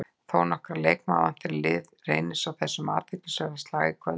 Þónokkra leikmenn vantar í lið Reynis í þessum athyglisverða slag í kvöld.